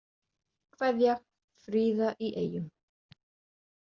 Kveðja, Fríða í Eyjum